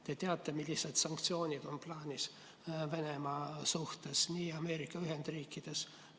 Te teate, millised sanktsioonid on plaanis Venemaa suhtes Ameerika Ühendriikidel.